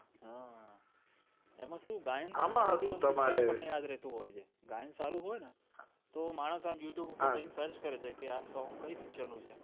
હા એમાં કેવું ગાયન આ મા હતું તમારે ગાયન સારું હોય ને તો માણશ આમ youtube પર search કરે છે આ song ક્યાં picture નું છે હમ